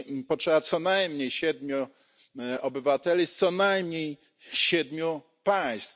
potrzeba co najmniej siedmiu obywateli, co najmniej siedmiu państw.